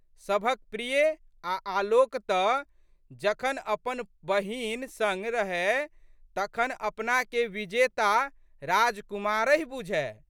सभक प्रिय आ' आलोक तऽ जखन अपन बहिन संग रहए तखन अपनाके विजेता राजकुमारहि बूझए।